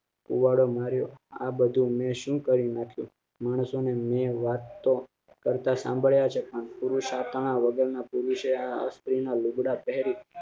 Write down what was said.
કુવાડો મારે આ બધું મેં શું કરયું મેં વાત કેરેટ સામ્ભળીયા છે પણ પુરુષ આપણા વગર પુરુષે આ સ્ત્રી ના લૂગડાં પહેરી